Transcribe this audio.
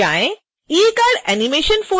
e cardanimation folder पर double click करें